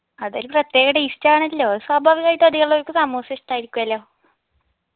അതൊരു പ്രത്യേക taste ആണല്ലോ സ്വാഭാവികായിട്ടും അതികാളുകൾക്കു സമൂസ ഇഷ്ടായിരിക്കുവല്ലോ